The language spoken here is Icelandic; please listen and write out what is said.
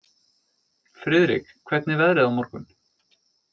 Friðrik, hvernig er veðrið á morgun?